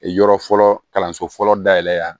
Yɔrɔ fɔlɔ kalanso fɔlɔ dayɛlɛn